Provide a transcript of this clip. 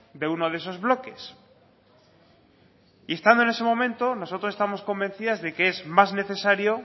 de uno de esos bloques y estando en ese momento nosotros estamos convencidas de que es más necesario